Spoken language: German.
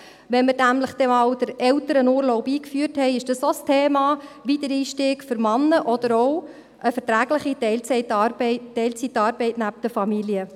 Wenn wir nämlich den Elternurlaub dann mal eingeführt haben, ist der Wiedereinstieg für Männer auch ein Thema, oder auch eine verträgliche Teilzeitarbeit neben der Familie.